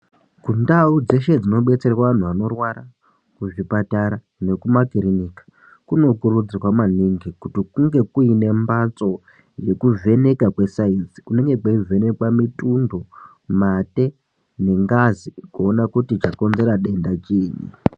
Kundau dzeshe dzino detsera antu anorwara ku zvipatara neku makirinika kuno kurudzirwa maningi kuti kunge kuine mbatso yeku vheneka kwe sainzi kunenge kwei vhenekwe mitundo mate ne ngazi kuone kuti chakonzera denda chiinyi.